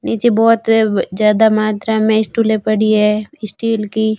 नीचे बहोत व ज्यादा मात्रा में स्टूले पड़ी है स्टील की--